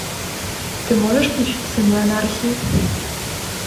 ты можешь включить сыны анархии